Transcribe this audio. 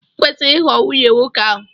I kwesịghị ịghọ nwunye nwoke ahụ!